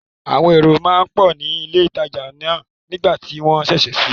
Àwọn èrò máa ń pọ̀ ni ilé ìtajà náà nígbà tí wọn sẹsẹ síí